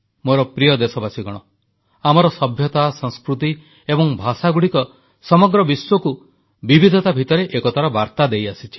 ମୋର ପ୍ରିୟ ଦେଶବାସୀଗଣ ଆମର ସଭ୍ୟତା ସଂସ୍କୃତି ଏବଂ ଭାଷାଗୁଡ଼ିକ ସମଗ୍ର ବିଶ୍ୱକୁ ବିବିଧତା ଭିତରେ ଏକତାର ବାର୍ତା ଦେଇଆସିଛି